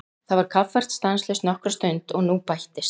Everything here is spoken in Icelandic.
Það var kaffært stanslaust nokkra stund og nú bættist